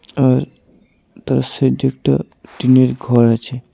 আর তার সাইডে একটা টিনের ঘর আছে।